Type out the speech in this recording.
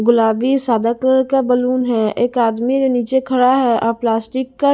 गुलाबी सादा कलर का बलून है एक आदमी जो नीचे खड़ा है आप प्लास्टिक का--